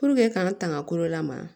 k'an tanga kolo lamaga